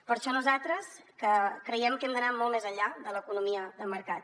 per això nosaltres creiem que hem d’anar molt més enllà de l’economia de mercat